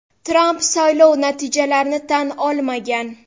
Tramp saylov natijalarini tan olmagan.